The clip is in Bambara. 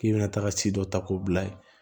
K'i bɛna taga si dɔ ta k'o bila yen